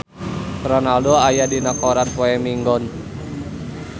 Ronaldo aya dina koran poe Minggon